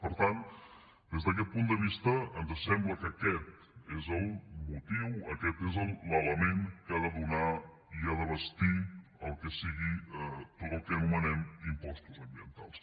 per tant des d’aquest punt de vista ens sembla que aquest és el motiu aquest és l’element que ha de donar i ha de bastir tot el que anomenem impostos ambientals